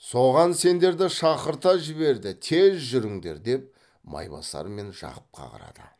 соған сендерді шақырта жіберді тез жүріңдер деп майбасар мен жақыпқа қарады